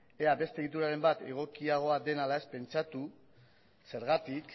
ea beste egituraren bat egokiagoa den ala ez pentsatu zergatik